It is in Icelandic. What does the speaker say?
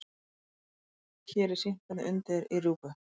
Hér er sýnt hvernig undið er í rjúpu.